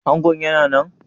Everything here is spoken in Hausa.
Angon yana nan?